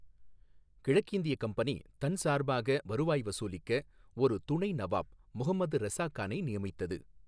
கிழக்கிந்திய கம்பெனி தன் சார்பாக வருவாய் வசூலிக்க ஒரு துணை நவாப் முஹம்மது ரெசா கானை நியமித்தது.